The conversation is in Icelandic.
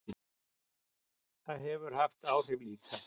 Það hefur haft áhrif líka.